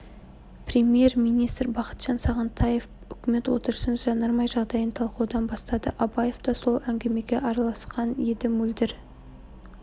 премьер-министр бақытжан сағынтаев үкімет отырысын жанармай жағдайын талқылаудан бастады абаев та сол әңгімеге араласқан еді мөлдір